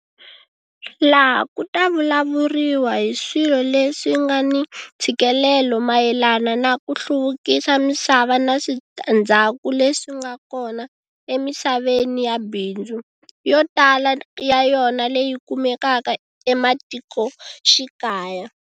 Laha ku ta vulavuriwa hi swilo leswi nga ni ntshikelelo mayelana na ku hluvukisa misava na switandzhaku leswi nga kona emisaveni ya bindzu, yo tala ya yona leyi kumekaka ematikoxikaya.